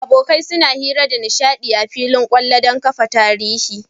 Abokai suna hira da nishadi a fillin kwallo, dan kafa tarihi